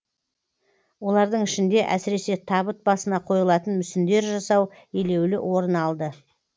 олардың ішінде әсіресе табыт басына қойылатын мүсіндер жасау елеулі орын алды